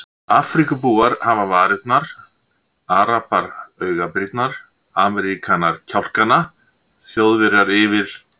Afríkubúar hafa varirnar, arabar augabrýrnar, Ameríkanar kjálkana, Þjóðverjar yfir